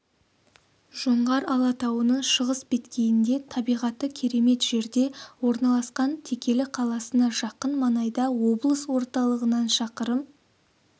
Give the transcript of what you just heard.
жоңғар алатауының шығыс беткейінде табиғаты керемет жерде орналасқан текелі қаласына жақын маңайда облыс орталығынан шақырым